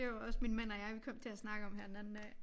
Det var også min mand og jeg vi kom til at snakke om her den anden dag